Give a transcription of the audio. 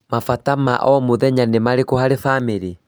Mabata ma o,mũthenya nĩ marĩkũ harĩ bamĩrĩ?